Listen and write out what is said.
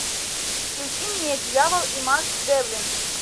включи мне дьявол и макс девлин